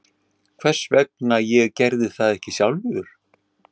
Hvers vegna ég gerði það ekki sjálfur?